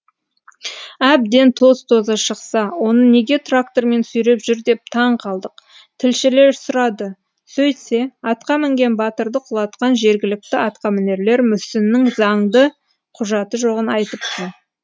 әбден тоз тозы шықса оны неге трактормен сүйреп жүр деп таң қалдық тілшілер сұрады сөйтсе атқа мінген батырды құлатқан жергілікті атқамінерлер мүсіннің заңды құжаты жоғын айтыпты